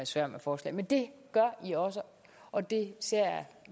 sværm af forslag men det gør i også og det ser jeg